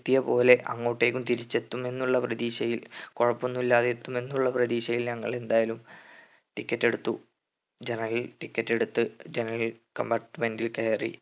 എത്തിയപ്പോലെ അങ്ങോട്ടേക്കും തിരിച്ച് എത്തും എന്നുള്ള പ്രതീക്ഷയിൽ കൊഴപ്പൊന്നും ഇല്ലാതെ എത്തും എന്ന പ്രതീക്ഷയിൽ ഞങ്ങൾ എന്തായാലും ticket എടുത്തു general ticket എടുത്ത് general compartment ൽ കയറി